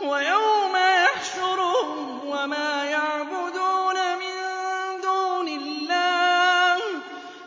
وَيَوْمَ يَحْشُرُهُمْ وَمَا يَعْبُدُونَ مِن دُونِ اللَّهِ